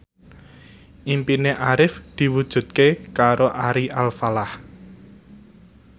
impine Arif diwujudke karo Ari Alfalah